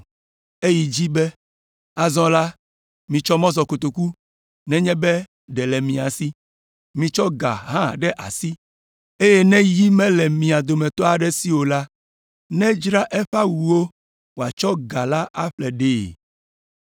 Eyi edzi be, “Azɔ la, mitsɔ mɔzɔkotoku nenye be ɖe le mia si. Mitsɔ ga hã ɖe asi, eye ne yi mele mia dometɔ aɖe si o la, nedzra eƒe awuwo wòatsɔ ga la aƒle ɖee.